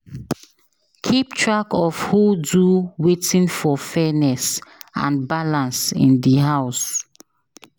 Keep track of who do wetin for fairness and balance in the house.